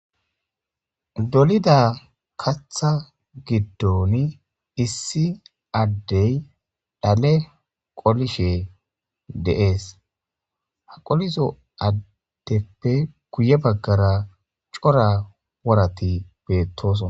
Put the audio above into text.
Dolida kaththa giddonni issi adeyi dhale qolishshe de'ees. Haa qolizzo adeppe guye bagara cora woratti betosonna .